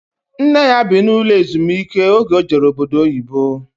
Nne ya bi n'ụlọ ezumiike oge o jere obodo oyibo